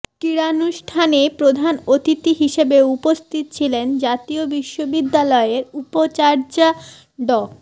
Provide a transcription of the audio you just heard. ক্রীড়ানুষ্ঠানে প্রধান অতিথি হিসেবে উপস্থিত ছিলেন জাতীয় বিশ্ববিদ্যালয়ের উপাচার্য ড